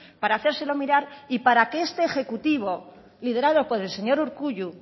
para hacérselo mirar y para que este ejecutivo liderado por el señor urkullu